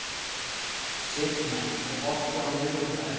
Signa, er bolti á miðvikudaginn?